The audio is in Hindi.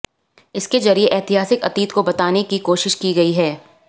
इसके जरिए ऐतिहासिक अतीत को बताने की कोशिश की गई है